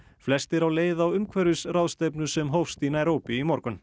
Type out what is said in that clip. flestir á leið á umhverfisráðstefnu sem hófst í Naíróbí í morgun